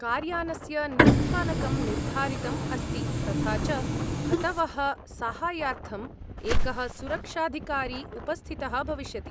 कार्यानस्य निस्स्थानकं निर्धारितम् अस्ति, तथा च भतवः साहाय्यार्थं एकः सुरक्षाधिकारी उपस्थितः भविष्यति।